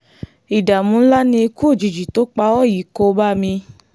ìdààmú ńlá ni ikú òjijì tó pa ọ́ yìí kò bá mi